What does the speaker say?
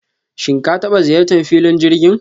shim ka taba ziyartan filon jirgin?